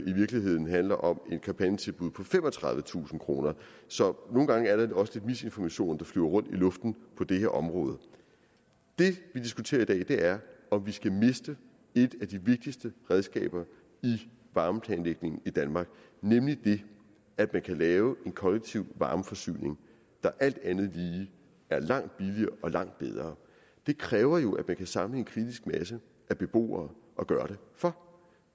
i virkeligheden handler om et kampagnetilbud på femogtredivetusind kroner så nogle gange flyver der også lidt misinformation rundt i luften på det her område det vi diskuterer i dag er om vi skal miste et af de vigtigste redskaber i varmeplanlægningen i danmark nemlig at man kan lave en kollektiv varmeforsyning der alt andet lige er langt billigere og langt bedre det kræver jo at man kan samle en kritisk masse af beboere og gøre det for